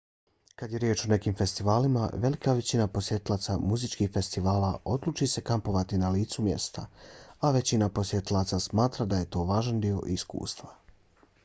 kad je riječ o nekim festivalima velika većina posjetilaca muzičkih festivala odluči se kampovati na licu mjesta a većina posjetilaca smatra da je to važan dio iskustva